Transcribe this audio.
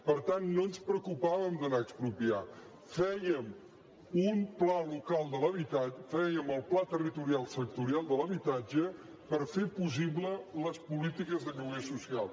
per tant no ens preocupàvem d’anar a expropiar fè·iem un pla local de l’habitatge fèiem el pla territorial sectorial de l’habitatge per fer possibles les polítiques de lloguer social